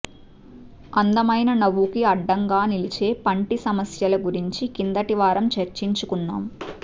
అందమైన నవ్వుకి అడ్డంగా నిలిచే పంటి సమస్యల గురించి కిందటివారం చర్చించుకున్నాం